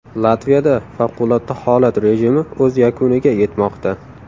Latviyada favqulodda holat rejimi o‘z yakuniga yetmoqda.